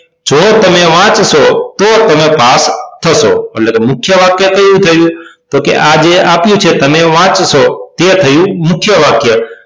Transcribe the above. જો તમે વાંચશો તો તમે પાસ થશો એટલે કે મુખ્ય વાક્ય કયું થયું તો આ જે આપ્યું છે તમે વાંચશો તે થયું મુખ્ય વાક્ય